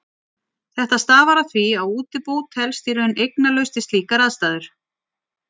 Þetta stafar af því að útibú telst í raun eignalaust við slíkar aðstæður.